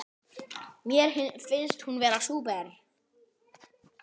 Mér finnst hún vera ein sú besta.